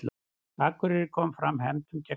Akureyri kom fram hefndum gegn Val